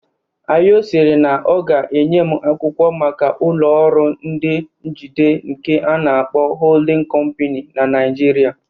Ayo sịrị na ọ ga-enye m akwụkwọ maka ụlọ ọrụ ndị njide nke ana-akpọ "Holding Company" na Naijiria